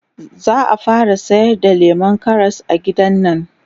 zaa fara sayar da lemun Karas a gidannan